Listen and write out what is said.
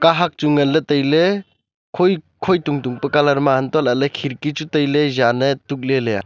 kahak chu nganle taile khoi tungtung pa colour ma aa anto lahle khirki chu taile jan tukle leya.